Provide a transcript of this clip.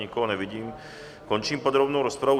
Nikoho nevidím, končím podrobnou rozpravu.